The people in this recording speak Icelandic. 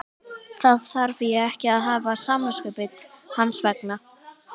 Þá þarf ég ekki að hafa samviskubit hans vegna?